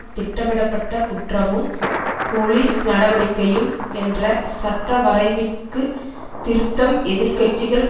திட்டமிடப்பட்ட குற்றமும் போலீஸ் நடவடிக்கையும் என்ற சட்டவரைவிற்குத் திருத்தம் எதிர் கட்சிகள்